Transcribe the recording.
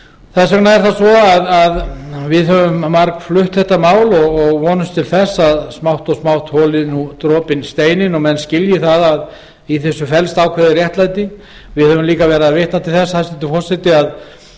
þess vegna er það svo að við höfum margflutt málið og vonumst til þess að smátt og smátt holi dropinn steininn og menn skilji það að í þessu felst ákveðið réttlæti við höfum líka vitnað til þess hæstvirtur forseti að